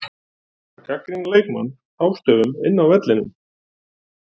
Að gagnrýna leikmenn hástöfum inni á vellinum?